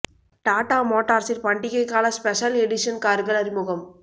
டாடா மோட்டார்ஸின் பண்டிகை கால ஸ்பெஷல் எடிஷன் கார்கள் அறிமுகம்